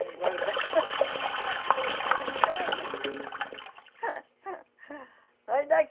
Vai guardar vai